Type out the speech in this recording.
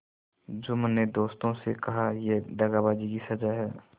जुम्मन ने दोस्तों से कहायह दगाबाजी की सजा है